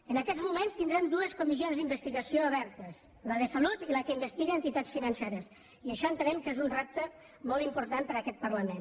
en aquests moments tindrem dues comissions d’investigació obertes la de salut i la que investiga entitats financeres i això entenem que és un repte molt important per a aquest parlament